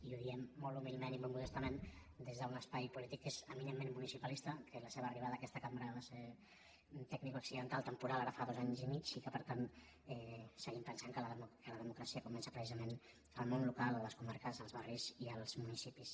i ho diem molt humilment i molt modestament des d’un espai polític que és eminentment municipalista que la seva arriba·da a aquesta cambra va ser tecnicoaccidental tempo·ral ara fa dos anys i mig i que per tant seguim pen·sant que la democràcia comença precisament al món local o a les comarques als barris i als municipis